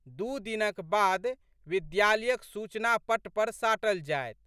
दू दिनक बाद विद्यालयक सूचनापट्ट पर साटल जाएत।